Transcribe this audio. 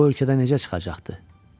Bu ölkədə necə çıxacaqdı?